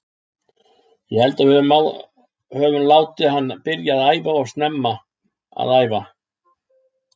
Ég held að við öfum látið hann byrja að æfa of snemma að æfa.